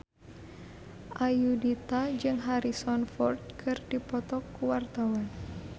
Ayudhita jeung Harrison Ford keur dipoto ku wartawan